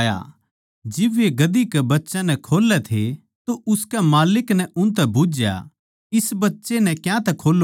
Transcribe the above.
जिब वे गधी कै बच्चे नै खोल्लै रहे थे तो उसके मालिकां नै उनतै बुझ्झया इस बच्चे नै क्यांतै खोल्लो सो